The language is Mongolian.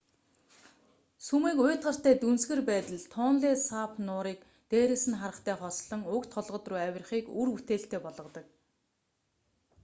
сүмийг уйтгартай дүнсгэр байдал тонле сап нуурыг дээрээс нь харахтай хослон уг толгод руу авирахыг үр бүтээлтэй болгодог